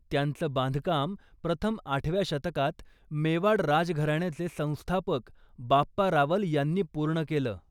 त्याचं बांधकाम प्रथम आठव्या शतकात मेवाड राजघराण्याचे संस्थापक बाप्पा रावल यांनी पूर्ण केलं.